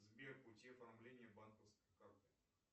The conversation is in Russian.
сбер пути оформления банковской карты